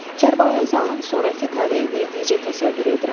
Kərbəlayi Zalın sonrakı taleyini necə təsəvvür edirəm.